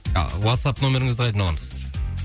а уатсап нөміріңізді қайдан аламыз